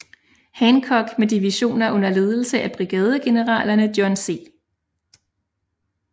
Hancock med divisioner under ledelse af brigadegeneralerne John C